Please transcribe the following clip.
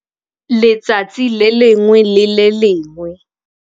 Letsatsi le lengwe le le lengwe.